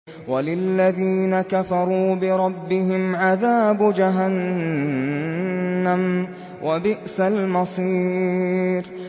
وَلِلَّذِينَ كَفَرُوا بِرَبِّهِمْ عَذَابُ جَهَنَّمَ ۖ وَبِئْسَ الْمَصِيرُ